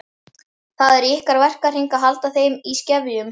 Það er í ykkar verkahring að halda þeim í skefjum.